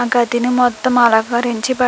ఆ గదిని మొత్తం అలంకరించబడి --